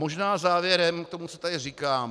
Možná závěrem k tomu, co tady říkám.